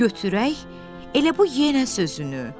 Götürək elə bu yenə sözünü.